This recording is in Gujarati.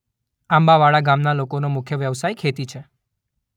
આંબાવાડા ગામના લોકોનો મુખ્ય વ્યવસાય ખેતી છે.